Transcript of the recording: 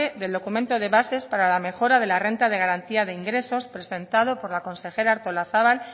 del documento de bases para la mejora de la renta de garantía de ingresos presentado por la consejera artolazabal